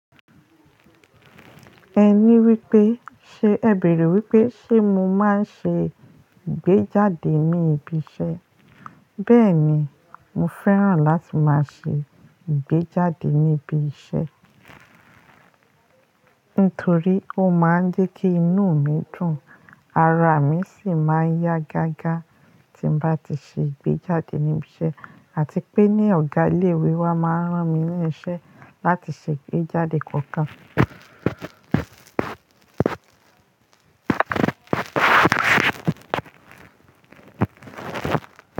Ẹ ní wípé, ṣe ẹ bèrè wípé ṣe mo máa ń ṣe ìgbéjáde ní ibi iṣẹ́? Bẹ́ẹ̀ni, mo fẹ́ràn láti máa ṣe ìgbéjáde níbi iṣẹ́. Nítorí ó máa ń dé kí inú mi dùn, ara mi sì máa yá gágá tí n bá ti ṣe ìgbéjáde níbi iṣẹ́ àti pé ní ọ̀gá ilé ìwé wa máa rán mi ní iṣẹ́ láti ṣe ìgbéjáde kọ̀ọ̀kan.